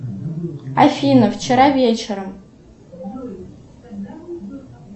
афина вчера вечером